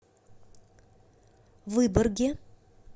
выборге